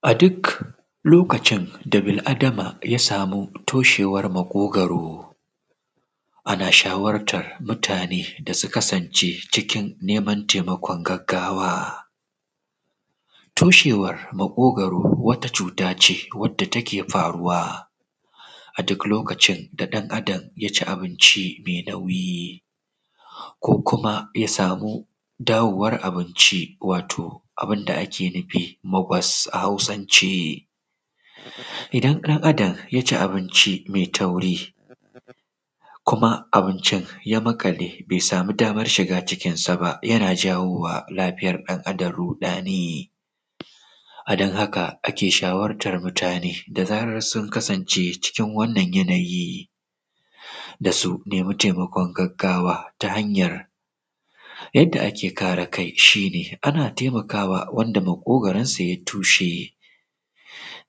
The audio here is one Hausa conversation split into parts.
A duk lokacin da bil'adama ya samu toshewar maƙogoro ana shawartar mutane su kasance cikin neman taimakon gaggawa. Toshewar maƙogoro wata cuta wanda take faruwa a duk lokacin da ɗan Adam ya ci abinci mai nauyi ko kuma bai samu dawowar abinci abun da ake kira magul a Hausance. Idan ɗan Adam ya ci abinci mai tauri kuma abincin ya maƙale bai sama damar shiga cikinsa yana kawowa lafiyar ɗan Adam ruɗani a cikin. A don haka ake shawartan mutane da zarar sun kasance cikin wannan yanayi da su nema taimakon gaggawa Yadda ake kare kai. Shi ne ana taimakawa wanda maƙogoro shi ya tushe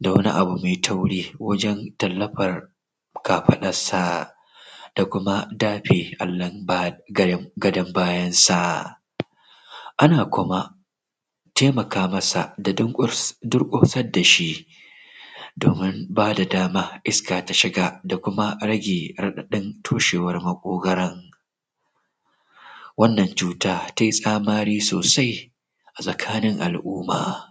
da wani abu mai tauri wajen tallafar kafaɗarsa da kuma dafe allon gadon bayansa ana kuma taimaka masa da durƙusar da shi don ba da dama iska ta shiga da kuma rage raɗaɗin toshewar maƙogoron wannan cuta tai kamari sosai a tsakanin al'umma